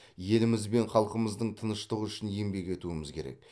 еліміз бен халқымыздың тыныштығы үшін еңбек етуіміз керек